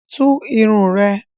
Tú irun ẹ!